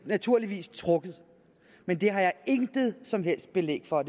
naturligvis trukket men det har jeg intet som helst belæg for